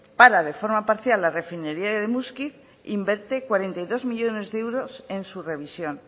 para de forma parcial la refinería de muskiz e invierte cuarenta y dos millónes de euros en su revisión